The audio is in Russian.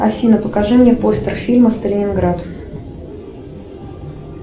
афина покажи мне постер фильма сталинград